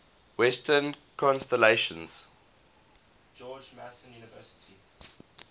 western constellations